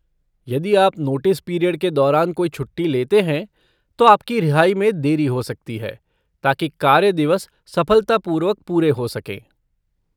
यदि आप notice period के दौरान कोई छुट्टी लेते हैं, तो आपकी रिहाई में देरी हो सकती है, ताकि कार्य दिवस सफलतापूर्वक पूरे हो सकें।